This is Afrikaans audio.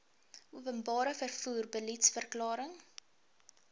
openbare vervoer beliedsverklaring